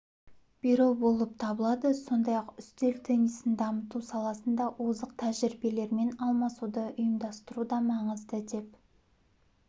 беру болып табылады сондай-ақ үстел теннисін дамыту саласында озық тәжірибелермен алмасуды ұйымдастыру да маңызды деп